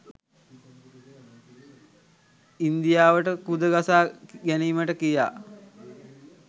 ඉන්දියාවට කුද ගසා ගැනීමට කියා